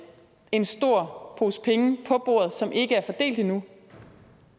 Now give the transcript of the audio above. en stor pose penge på bordet som ikke er fordelt endnu